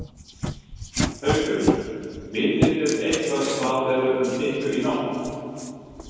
Haukur: Vitið þið eitthvað hvað verður um ykkur í nótt?